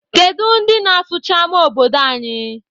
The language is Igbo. Kedu ndị na-asụcha ama obodo anyị?